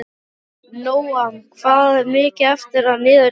Nóam, hvað er mikið eftir af niðurteljaranum?